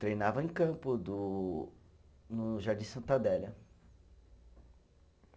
Treinava em campo, do no Jardim Santa Adélia.